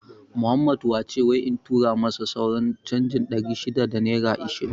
Muhammed wace wai in tura masa sauran canjin ɗari shida da naira ishirin